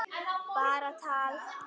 Bara tal.